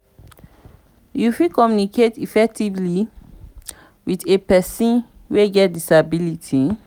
how you fit communicate effectively with a pesin wey get disability?